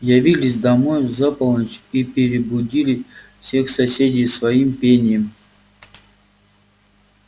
явились домой за полночь и перебудили всех соседей своим пением